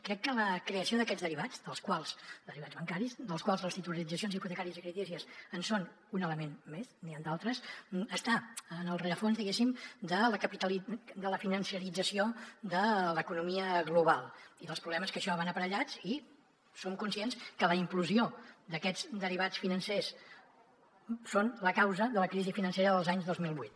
crec que la creació d’aquests derivats derivats bancaris dels quals les titulitzacions hipotecàries i creditícies en són un element més n’hi han d’altres està en el rerefons diguéssim de la financerització de l’economia global i dels problemes que amb això van aparellats i som conscients que la implosió d’aquests derivats financers són la causa de la crisi financera de l’any dos mil vuit